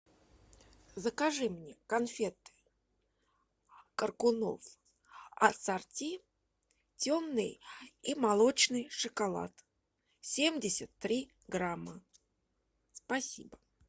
закажи мне конфеты коркунов ассорти темный и молочный шоколад семьдесят три грамма спасибо